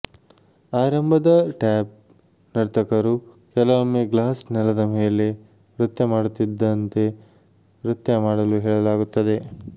ಆರಂಭದ ಟ್ಯಾಪ್ ನರ್ತಕರು ಕೆಲವೊಮ್ಮೆ ಗ್ಲಾಸ್ ನೆಲದ ಮೇಲೆ ನೃತ್ಯ ಮಾಡುತ್ತಿದ್ದಂತೆ ನೃತ್ಯ ಮಾಡಲು ಹೇಳಲಾಗುತ್ತದೆ